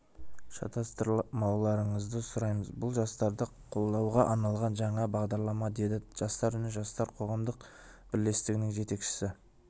шатастырмауларыңызды сұраймыз бұл жастарды қолдауға арналған жаңа бағдарлама деді жастар үні жастар қоғамдық бірлестігінің жетекшісі